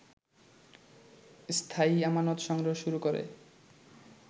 স্থায়ী আমানত সংগ্রহ শুরু করে